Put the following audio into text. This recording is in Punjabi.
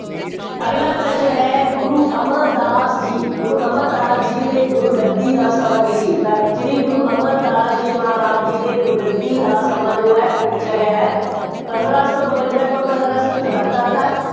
ਅਗਲਾ ਪ੍ਰਸ਼ਨ ਹੈ, ਗੁਰੂ ਅਮਰਦਾਸ ਜੀ, ਗੁਰੂ ਅਮਰਦਾਸ ਜੀ ਦੇ ਗੁਰਗੱਦੀ ਦਾ ਸਮਾਂ ਕੀ ਸੀ? ਤਾਂ ਸ਼੍ਰੀ ਗੁਰੂ ਅਮਰਦਾਸ ਜੀ ਮਹਾਰਾਜ ਜੀ ਦੇ ਗੁਰਗੱਦੀ ਦਾ ਸਮਾਂ ਜੋ ਹੈ ਉਹ ਪੁੱਛਿਆ ਗਿਆ ਹੈ। ਪੰਦਰਾਂ ਸੌ ਬਵੰਜ਼ਾ ਤੋਂ ਪੰਦਰਾਂ ਸੌ ਚੁਹੱਤਰ ਤੱਕ।